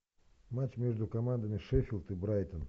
матч между командами шеффилд и брайтон